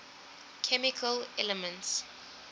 chemical elements